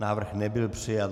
Návrh nebyl přijat.